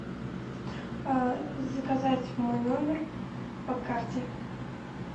заказать в мой номер по карте